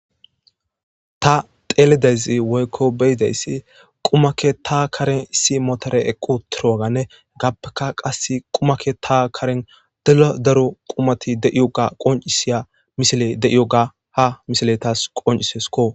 Ta teeledezi woykko beyidayssi qumakke ta karen issi motore eqqu turoganne gappeka qas qumakke ta karen deladaro qumati deiyoga qoncisiya misile de7iyoga ha misiley taas qoncisesko.